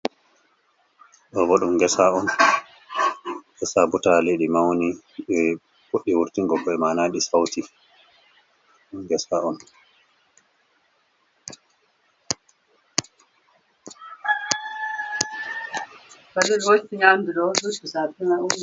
Ɗo bo ɗum ngesa on, ngesa butaali, ɗi mawni, ɗi fuɗɗi wurtingo ko'e, mana ɗi sawti, ngesa on.